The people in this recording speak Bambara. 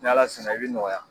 Ni Ala sɔnna i bɛ nɔgɔya